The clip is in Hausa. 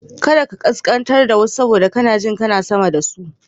Kar ka kaskantar da wasu saboda kana jin kana sama da su.